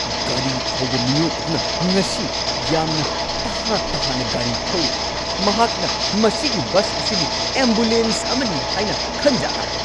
ꯒꯥꯔꯤ ꯊꯧꯕ ꯃꯤꯑꯣꯏ ꯑꯗꯨꯅ ꯉꯁꯤ ꯌꯥꯝꯅ ꯇꯍꯥ-ꯇꯍꯥꯅ ꯒꯥꯔꯤ ꯊꯧꯔꯤ꯫ ꯃꯍꯥꯛꯅ ꯃꯁꯤꯒꯤ ꯕꯁ ꯑꯁꯤꯕꯨ ꯑꯦꯝꯕꯨꯂꯦꯟꯁ ꯑꯃꯅꯤ ꯍꯥꯏꯅ ꯈꯟꯖꯥꯠꯂ?